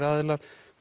aðilar